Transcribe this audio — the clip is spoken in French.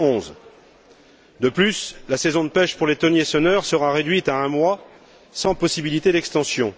2011. De plus, la saison de pêche pour les thoniers senneurs sera réduite à un mois, sans possibilité d'extension.